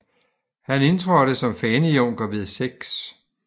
Han indtrådte som fanejunker ved 6